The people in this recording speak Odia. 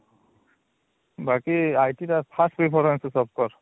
ବାକି IT ର first preference ହଉଚି software